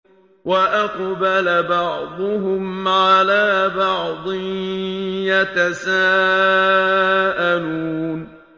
وَأَقْبَلَ بَعْضُهُمْ عَلَىٰ بَعْضٍ يَتَسَاءَلُونَ